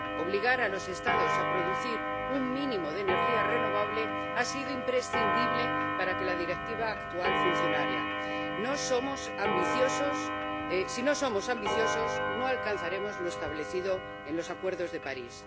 Obligar a los Estados a producir un mínimo de energía renovable ha sido imprescindible para que la Directiva actual funcionara. Si no somos ambiciosos, no alcanzaremos lo establecido en el Acuerdo de París.